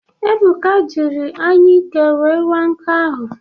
Ebụka jịrị anyụike wee waa nkụ ahụ.